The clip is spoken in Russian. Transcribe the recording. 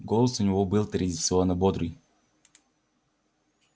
голос у него был традиционно бодрый